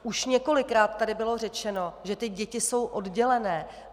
Už několikrát tady bylo řečeno, že ty děti jsou oddělené.